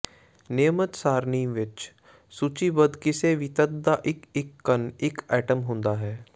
ਨਿਯਮਤ ਸਾਰਣੀ ਵਿੱਚ ਸੂਚੀਬੱਧ ਕਿਸੇ ਵੀ ਤੱਤ ਦਾ ਇੱਕ ਇੱਕ ਕਣ ਇੱਕ ਐਟਮ ਹੁੰਦਾ ਹੈ